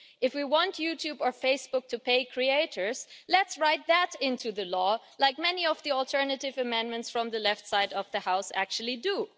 If we want YouTube or Facebook to pay creators, let's write that into the law, as many of the alternative amendments from the left side of the House actually do.